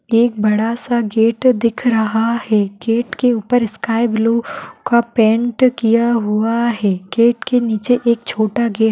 एक बड़ा सा गेट दिख रहा है गेट के ऊपर स्काइ ब्लू का पेंट किया हुआ है गेट के नीचे एक छोटा गेट --